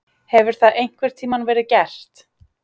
Hefur það einhvern tímann verið gert?